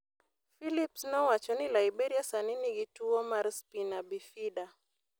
Philips nowacho ni Liberia sani nigi tuwo mar spina bifida.